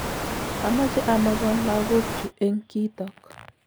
amache amogon lakok chu eng kitok